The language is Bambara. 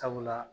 Sabula